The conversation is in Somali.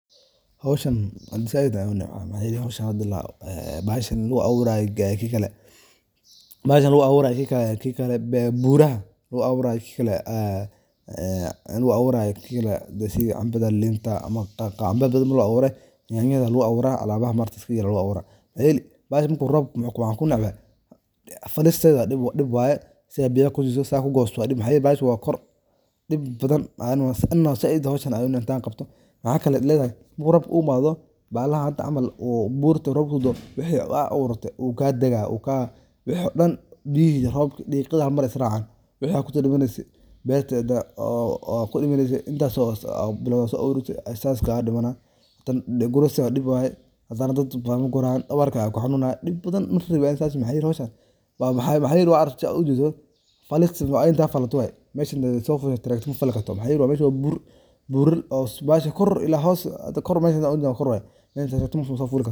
Hawshan isaa gudahay aw nan xooj. Haaw shan radila, baah shan luu aw raay geeeyey kii kale. Baah shan luu aw raay kii kale, kii kale bee buura luu aw raay kii kale ah. Ah, luu aw raay kii kale desii amba dal linta ama qaqa amba badan luu aw raay. Nignaada luu aw raay. Alaabaha martiska iyo luu aw raay. Mahayli baah shan ku roob muquwaan ku nin cabee. Falis saydha dhib waa dhibi waaye si ay biyo ko jiso saak u goostoo. Dhimaq hayir baash waa kor dhig badan ma aannoo sa xay dhawaa shan adan ay nataan qabto. Maxaa kale leedahay buurro ubaad oo baal ahaata amal oo buurta robkoodu waxay cawaad urtay uu ka degaa uu ka... Wuxuu dhan biyihii roobka dhiiga mar israacaan. Wixii aag kula dinisay baa yarteeda oo-oo kula dinisay intaan soo gaar dhibanaa guriga dhibba ay taagantood ma qoraan dabarkaaga ka xunaa dhib badan la xiray baay insaas mahay liq shan. Baah mahay liq waa arag juuso faliksi waan intaa falatay. May shan soo furay tragtamu falu kastoo mahay liq waa may shan u bur-burbaah shakor ilaa haaw si kor may shan u jan kor way insaas wuxuu musafiri kastoo.